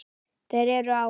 Þeir eru á